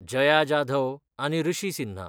जया जाधव आनी ऋषी सिन्हा